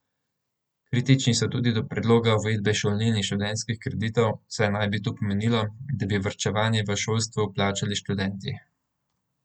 Kritični so tudi do predloga uvedbe šolnin in študentskih kreditov, saj naj bi to pomenilo, da bi varčevanje v šolstvu plačali študenti.